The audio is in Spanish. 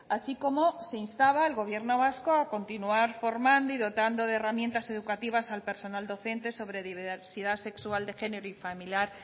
así como se instaba al gobierno vasco a continuar formando y dotando de herramientas educativas al personal docente sobre diversidad sexual de género y familiar